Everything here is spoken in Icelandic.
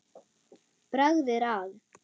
Bragð er að.